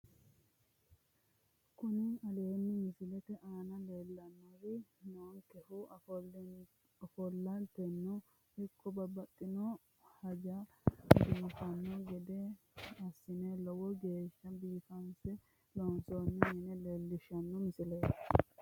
Kuni aleenni misilete aana leellanni noonkehu ofoollateno ikko babbaxxitino hajara biifanno gede assine lowo geeshsha biifinse loonsoonni mine leellishshanno misileeti